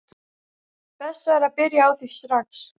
Best væri að byrja á því strax.